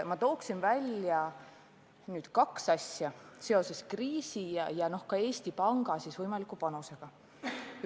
Ma tooksin seoses kriisi ja Eesti Panga võimaliku panusega välja kaks asja.